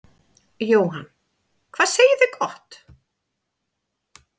Jóhann: Hvað segið þið gott.